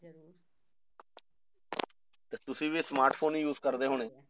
ਤੇ ਤੁਸੀਂ ਵੀ smart phone use ਕਰਦੇ ਹੋਣੇ